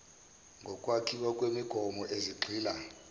zokwakhiwa kwemigomo ezigxila